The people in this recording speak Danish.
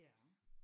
Ja